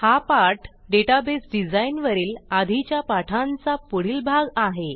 हा पाठ database design वरील आधीच्या पाठांचा पुढील भाग आहे